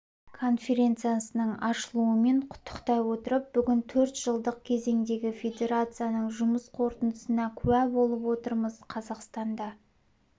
конференциясының ашылуымен құттықтай отырып бүгін төрт жылдық кезеңдегі федерацияның жұмыс қорытындысына куә болып отырмыз қазақстанда